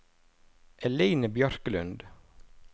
Eline Bjørklund